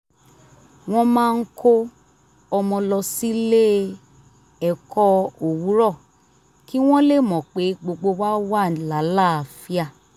wọ́n máa ń kó ọmọ lọ sílé-ẹ̀kọ́ owurọ̀ kí wọ́n lè mọ pé gbogbo wa wà láàlàáfíà